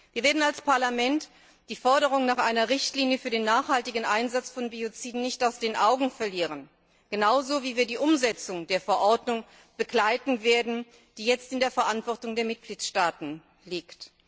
Wir werden als Parlament die Forderung nach einer Richtlinie für den nachhaltigen Einsatz von Bioziden nicht aus den Augen verlieren genauso wie wir die Umsetzung der Verordnung begleiten werden, die jetzt in der Verantwortung der Mitgliedstaaten liegt.